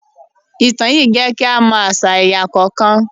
Ìtàn yìí jẹ́ kí a mọ àṣà ẹ̀yà kọ̀ọ̀kan